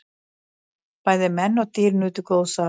Bæði menn og dýr nutu góðs af.